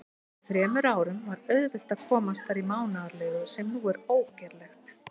Fyrir þremur árum var auðvelt að komast þar í mánaðarleigu, sem nú er ógerlegt.